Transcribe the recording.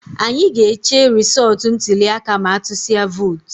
Anyị ga-eche resọọtu ntụliaka ma a tusịa vootu